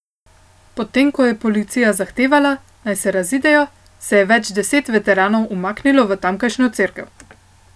Potem ko je policija zahtevala, naj se razidejo, se je več deset veteranov umaknilo v tamkajšnjo cerkev.